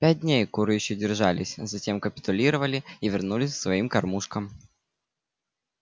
пять дней куры ещё держались затем капитулировали и вернулись к своим кормушкам